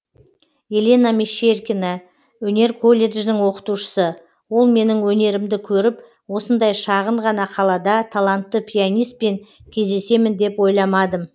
елена мещеркина өнер колледжінің оқытушысы ол менің өнерімді көріп осындай шағын ғана қалада талантты пианиспен кездесемін деп ойламадым